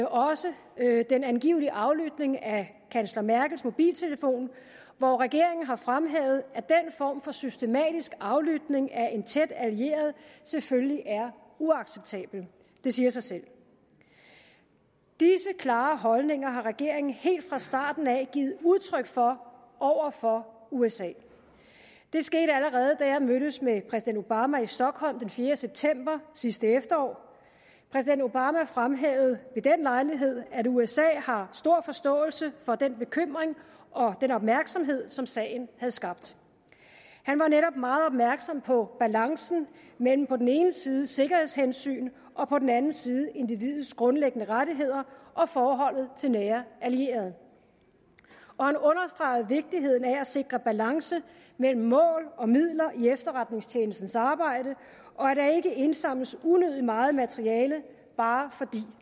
også den angivelige aflytning af kansler merkels mobiltelefon hvor regeringen har fremhævet at den form for systematisk aflytning af en tæt allieret selvfølgelig er uacceptabelt det siger sig selv disse klare holdninger har regeringen helt fra starten af givet udtryk for over for usa det skete allerede da jeg mødtes med præsident obama i stockholm den fjerde september sidste efterår præsident obama fremhævede ved den lejlighed at usa har stor forståelse for den bekymring og den opmærksomhed som sagen havde skabt han var netop meget opmærksom på balancen mellem på den ene side sikkerhedshensyn og på den andet side individets grundlæggende rettigheder og forholdet til nære allierede og han understregede vigtigheden af at sikre balance mellem mål og midler i efterretningstjenestens arbejde og at der ikke indsamles unødig meget materiale bare fordi